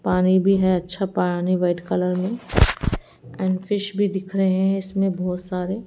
पानी भी है अच्छा पानी व्हाईट कलर में एंड फिश भी दिख रहे हैं इसमें बहुत सारे।